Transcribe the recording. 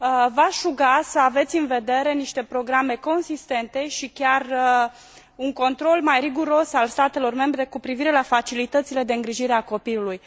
V aș ruga să aveți în vedere niște programe consistente și chiar un control mai riguros al statelor membre cu privire la facilitățile de îngrijire a copilului.